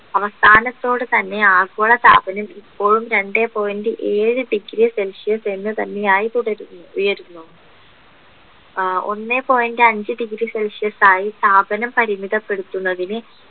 അവസാനത്തോട് തന്നെ ആഗോളതാപനം ഇപ്പോഴും രണ്ടേ point ഏഴ് degree celsius എന്ന് തന്നെ ആയി തുടരുന്നു ഉയരുന്നു ഒന്നേ ആഹ് point അഞ്ച് degree celsius ആയി താപനം പരിമിതപ്പെടുത്തുന്നതിന്